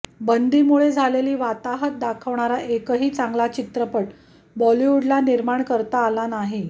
बंदीमुळे झालेली वाताहत दाखवणारा एकही चांगला चित्रपट बॉलिवुडला निर्माण करता आला नाही